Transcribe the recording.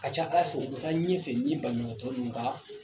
A ka ca Ala fɛ u bɛ taa ɲɛfɛ ni banabagatɔ ninnu ka